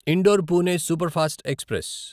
indoor Pune superfast express